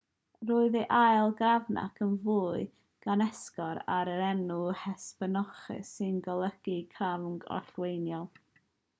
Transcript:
roedd ei ail grafanc yn fwy gan esgor ar yr enw hesperonychus sy'n golygu crafanc orllewinol